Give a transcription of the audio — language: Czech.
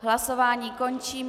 Hlasování končím.